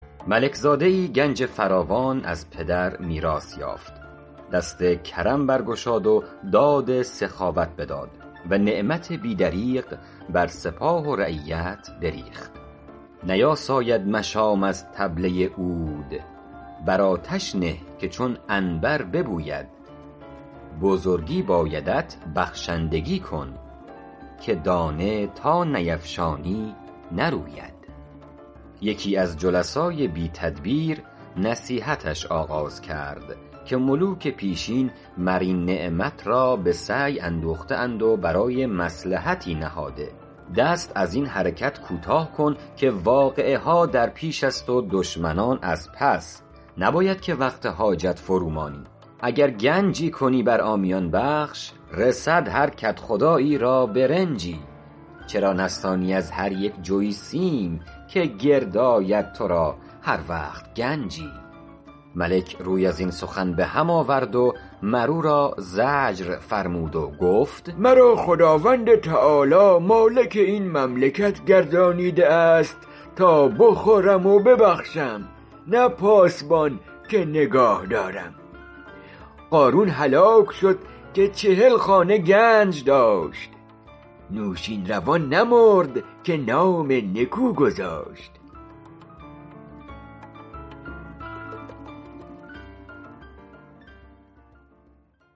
ملک زاده ای گنج فراوان از پدر میراث یافت دست کرم برگشاد و داد سخاوت بداد و نعمت بی دریغ بر سپاه و رعیت بریخت نیاساید مشام از طبله عود بر آتش نه که چون عنبر ببوید بزرگی بایدت بخشندگی کن که دانه تا نیفشانی نروید یکی از جلسای بی تدبیر نصیحتش آغاز کرد که ملوک پیشین مر این نعمت را به سعی اندوخته اند و برای مصلحتی نهاده دست از این حرکت کوتاه کن که واقعه ها در پیش است و دشمنان از پس نباید که وقت حاجت فرو مانی اگر گنجی کنی بر عامیان بخش رسد هر کدخدایی را برنجی چرا نستانی از هر یک جوی سیم که گرد آید تو را هر وقت گنجی ملک روی از این سخن به هم آورد و مر او را زجر فرمود و گفت مرا خداوند تعالیٰ مالک این مملکت گردانیده است تا بخورم و ببخشم نه پاسبان که نگاه دارم قارون هلاک شد که چهل خانه گنج داشت نوشین روان نمرد که نام نکو گذاشت